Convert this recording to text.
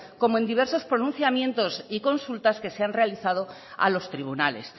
como en diversos pronunciamientos y consultas que se han realizado a los tribunales